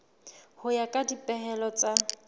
ho ya ka dipehelo tsa